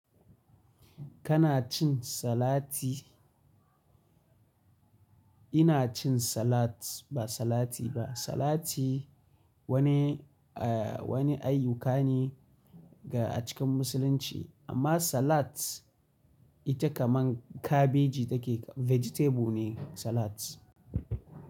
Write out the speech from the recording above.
Kana cin salati? Ina cin salat, ba salati ba. Salati, wani ayyuka ne ga a cikin musulunci. Amma salat, ita kaman kabeji take, vegetable ne salat.